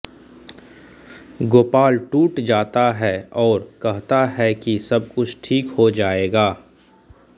गोपाल टूट जाता है और कहता है कि सब कुछ ठीक हो जाएगा